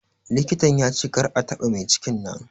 Likitan ya ce kar a taɓa maicikin nan